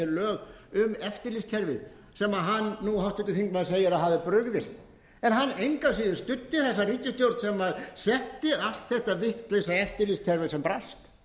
að setja hér lög um eftirlitskerfið sem háttvirtur þingmaður segir að hafi brugðist en hann engu að síður studdi þessa ríkisstjórn sem setti allt þetta vitlausa eftirlitskerfi sem brast